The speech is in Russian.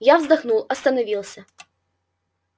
я вздохнул остановился